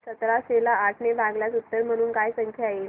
सतराशे ला आठ ने भागल्यास उत्तर म्हणून काय संख्या येईल